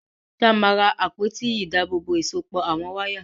Ṣé a máa ra àpótí ìdábòòbò ìsopọ̀ àwọn wáyà?